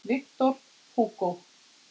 Victor Hugo